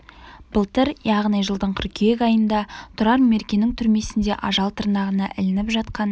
былтыр яғни жылдың қыркүйек айында тұрар меркенің түрмесінде ажал тырнағына ілініп жатқан